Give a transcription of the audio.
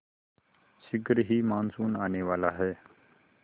शीघ्र ही मानसून आने वाला है